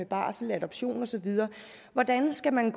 barsel adoption og så videre hvordan skal man